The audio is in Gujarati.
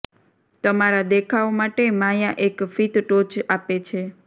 તમારા દેખાવ માટે માયા એક ફીત ટોચ આપે છે